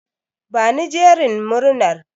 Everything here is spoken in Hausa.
Bani jerin murnar.